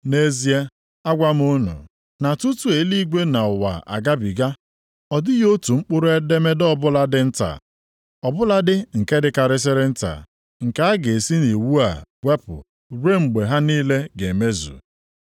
Nʼezie, agwa m unu, na tutu eluigwe na ụwa agabiga, ọ dịghị otu mkpụrụ edemede ọbụla dị nta, ọ bụladị nke dịkarịsịrị nta, nke a ga-esi nʼIwu a wepụ ruo mgbe ha niile ga emezu.